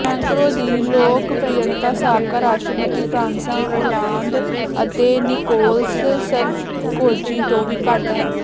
Macron ਦੀ ਲੋਕਪਿ੍ਰਅਤਾ ਸਾਬਕਾ ਰਾਸ਼ਟਰਪਤੀ ਫ੍ਰਾਂਸਵਾਂ ਓਲਾਂਦ ਅਤੇ ਨਿਕੋਲਸ ਸਰਕੋਜ਼ੀ ਤੋਂ ਵੀ ਘੱਟ ਹੈ